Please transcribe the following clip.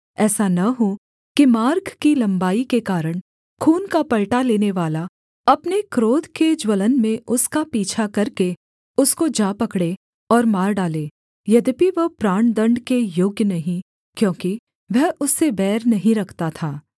ऐसा न हो कि मार्ग की लम्बाई के कारण खून का पलटा लेनेवाला अपने क्रोध के ज्वलन में उसका पीछा करके उसको जा पकड़े और मार डाले यद्यपि वह प्राणदण्ड के योग्य नहीं क्योंकि वह उससे बैर नहीं रखता था